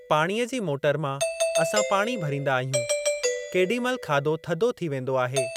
पाणीअ जी मोटर मां असां पाणी भरींदा आहियूं। केॾी महिल खाधो थधो थी वेंदो आहे।